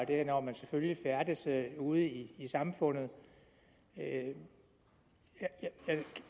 det er når man selvfølgelig færdes ude i i samfundet jeg